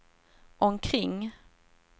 omkring